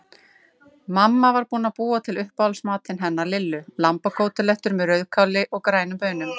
Mamma var búin að búa til uppáhaldsmatinn hennar Lillu, lambakótelettur með rauðkáli og grænum baunum.